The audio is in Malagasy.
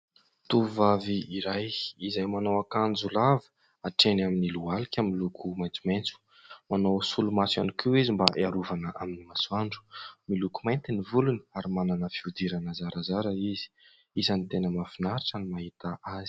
Tovovavy iray izay manao akanjo lava hatreny amin'ny lohalika miloko maitsomaitso. Manao solomaso ihany koa izy mba hiarovana amin'ny masoandro. Miloko mainty ny volony ary manana fihodirana zarazara izy. Isany tena mahafinaritra ny mahita azy.